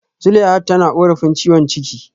Zuleihat tana korafin ciwon ciki